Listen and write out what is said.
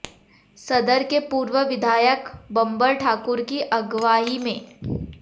सदर के पूर्व विधायक बंबर ठाकुर की अगवाई में